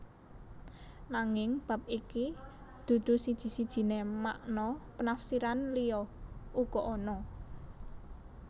Nanging bab iki dudu siji sijiné makna penafsiran liya uga ana